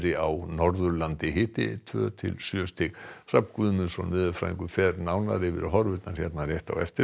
á Norðurlandi hiti tveggja til sjö stig Hrafn Guðmundsson veðurfræðingur fer nánar yfir horfurnar hér rétt á eftir